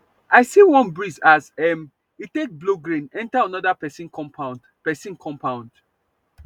i see one breeze as um e take blow grain enter another person compound person compound